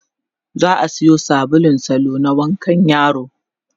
za'a Sayo sabulun salo na wankan yaro